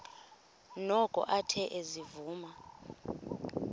noko athe ezivuma